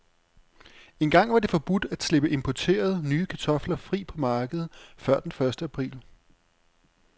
Engang var det forbudt at slippe importerede, nye kartofler fri på markedet før den første april.